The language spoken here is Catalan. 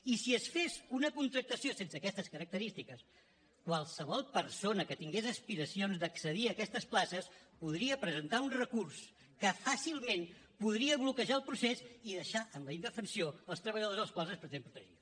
i si es fes una contractació sense aquestes característiques qualsevol persona que tingués aspiracions d’accedir a aquestes places podria presentar un recurs que fàcilment podria bloquejar el procés i deixar en la indefensió els treballadors als quals es pretén protegir